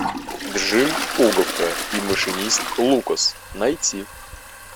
джим пуговка и машинист лукас найти